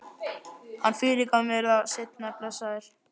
Hann fyrirgaf mér það seinna, blessaður.